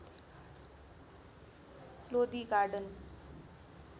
Lodi garden